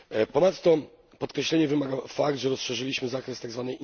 Ponadto podkreślenia wymaga fakt, że rozszerzyliśmy zakres tzw.